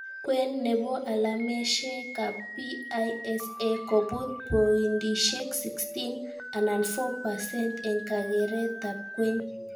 Kwen nebo alameshekab PISA kobut poindishek 16 anan 4%,eng kakeretab kwen